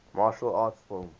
martial arts film